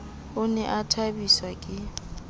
o ne a thabiswa ke